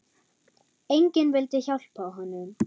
Enginn vildi hjálpa honum.